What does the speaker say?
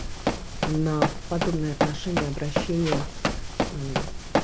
на подобное отношение обращение мм